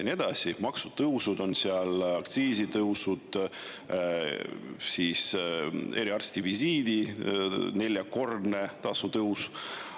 Seal on maksutõusud, aktsiisitõusud, eriarstivisiidi tasu neljakordne tõus.